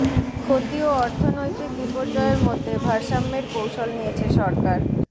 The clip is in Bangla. ক্ষতি ও অর্থনৈতিক বিপর্যয়ের মধ্যে ভারসাম্যের কৌশল নিয়েছে সরকার